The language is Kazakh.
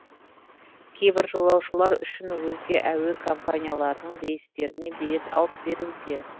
кейбір жолаушылар үшін өзге әуе компанияларының рейстеріне билет алып беруде